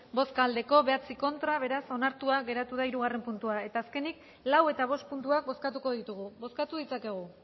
bai bederatzi ez beraz onartua geratu da hirugarrena puntua azkenik lau eta bost puntuak bozkatuko ditugu bozkatu ditzakegu